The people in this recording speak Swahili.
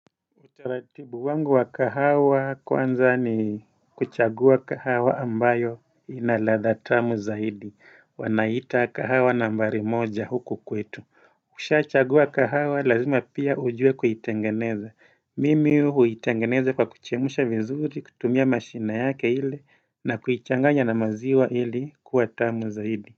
Utaratibu wangu wa kahawa kwanza ni kuchagua kahawa ambayo ina ladha tamu zaidi. Wanaiita kahawa nambari moja huku kwetu. Ukisha chagua kahawa lazima pia ujue kuitengeneza. Mimi huitengeneza kwa kuchemsha vizuri, kutumia mashine yake ile na kuichanganya na maziwa ili kuwa tamu zaidi.